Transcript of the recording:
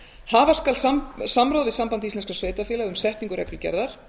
hafa skal samráð við samband íslenskra sveitarfélaga um setningu reglugerðar